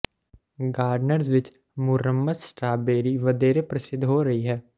gardeners ਵਿੱਚ ਮੁਰੰਮਤ strawberry ਵਧੇਰੇ ਪ੍ਰਸਿੱਧ ਹੋ ਰਹੀ ਹੈ